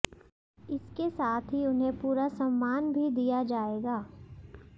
इसके साथ ही उन्हें पूरा सम्मान भी दिया जाएगा